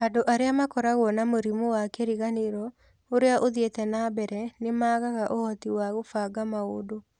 Andũ arĩa makoragwo na mũrimũ wa kĩriganĩro ũrĩa uthiĩte na mbere, nĩ maagaga ũhoti wa kũbanga maũndũ.